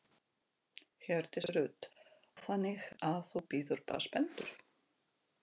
Hjördís Rut: Og þannig að þú bíður bara spenntur?